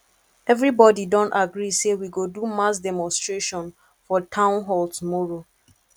everybody don agree say we go do mass demonstration for town hall tomorrow